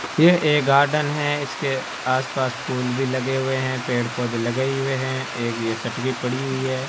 यह एक गार्डन है इसके आसपास फूल भी लगे हुए हैं पेड़ पौधे लगे ही हुए हैं एक यह सटकी पड़ी हुई है।